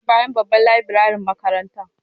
Yana bayan babban laburarin makaranta.